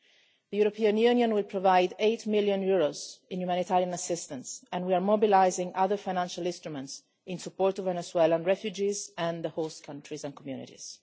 The European Union will provide EUR 8 million in humanitarian assistance and we are mobilising other financial instruments in support of Venezuelan refugees and the host countries and communities.